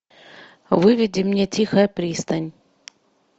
выведи мне тихая пристань